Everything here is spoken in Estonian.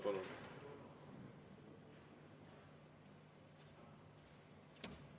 Palun!